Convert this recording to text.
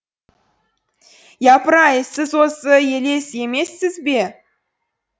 япыр ай сіз осы елес емессіз бе